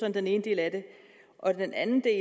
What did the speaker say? er den ene del af det den anden del